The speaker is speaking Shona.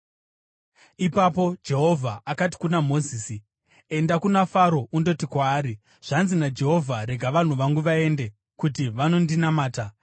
Ipapo Jehovha akati kuna Mozisi, “Enda kuna Faro undoti kwaari, ‘Zvanzi naJehovha: Rega vanhu vangu vaende, kuti vanondinamata.